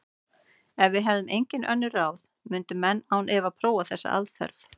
Ef við hefðum engin önnur ráð myndu menn án efa prófa þessa aðferð.